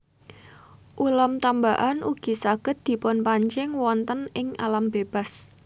Ulam tambakan ugi saged dipunpancing wonten ing alam bebas